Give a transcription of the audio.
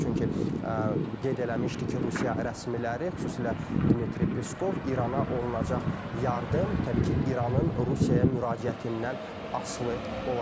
Çünki qeyd eləmişdi ki, Rusiya rəsmiləri, xüsusilə Dmitri Piskov İrana olunacaq yardım, təbii ki, İranın Rusiyaya müraciətindən asılı olacaq.